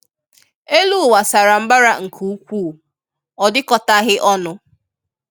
Elu uwa sara mbara nke ukwuu, ọ dikọtaghị ọnụ.